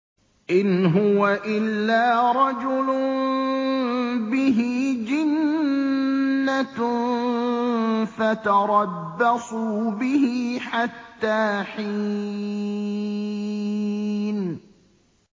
إِنْ هُوَ إِلَّا رَجُلٌ بِهِ جِنَّةٌ فَتَرَبَّصُوا بِهِ حَتَّىٰ حِينٍ